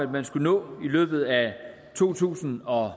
man skulle nå i løbet af to tusind og